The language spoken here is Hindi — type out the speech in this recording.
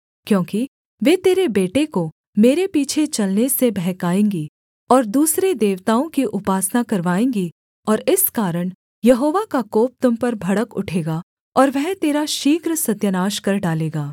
क्योंकि वे तेरे बेटे को मेरे पीछे चलने से बहकाएँगी और दूसरे देवताओं की उपासना करवाएँगी और इस कारण यहोवा का कोप तुम पर भड़क उठेगा और वह तेरा शीघ्र सत्यानाश कर डालेगा